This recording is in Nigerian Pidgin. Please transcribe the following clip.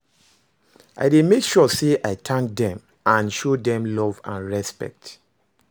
I dey make sure say i thank dem and show dem love and respect.